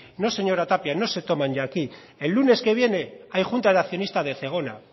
no señora tapia no se toman ya aquí el lunes que viene hay junta de accionistas de zegona